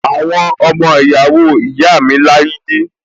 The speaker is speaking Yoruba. Àwọn ọmọ ìyàwó ìyá mi lágídí